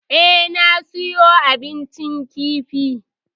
Eh, na siyo abincin kifin.